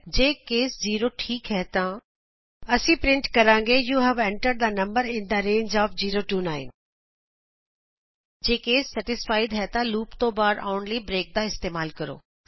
ਜੇ ਕੇਸ 0 ਠੀਕ ਹੈ ਤਾਂ ਅਸੀਂ ਪਰਿੰਟ ਕਰਾਂਗੇ you have entered the number in the range of 0 9 ਜੇ ਕੇਸ ਸੈਟਿਸਫਾਈਡ ਹੈ ਤਾਂ ਅਸੀਂ ਲੂਪ ਤੋਂ ਬਾਹਰ ਆਉਣ ਲਈ ਬ੍ਰੇਕ ਇਸਤੇਮਾਲ ਕਰਾਂਗੇ